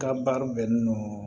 Ka baara bɛnnen don